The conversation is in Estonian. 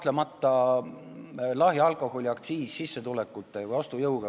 See on kahtlemata lahja alkoholi aktsiis võrreldes sissetulekute või ostujõuga.